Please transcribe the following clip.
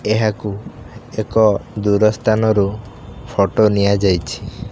ଏହାକୁ ଏକ ଦୂର ସ୍ଥାନରୁ ଫୋଟ ନିଆଯାଇଛି।